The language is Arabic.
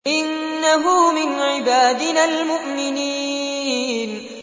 إِنَّهُ مِنْ عِبَادِنَا الْمُؤْمِنِينَ